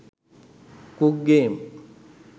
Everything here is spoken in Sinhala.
cook game